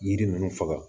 Yiri ninnu faga